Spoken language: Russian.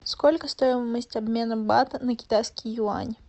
сколько стоимость обмена бат на китайский юань